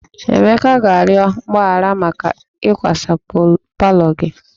Emeka ga-arịọ mgbaghara maka ịkwasa palọ gị